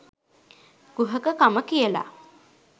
කුහකකම කියලා.